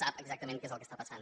sap exactament què és el que està passant